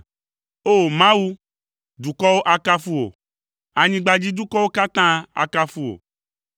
O! Mawu, dukɔwo akafu wò, anyigbadzidukɔwo katã akafu wò.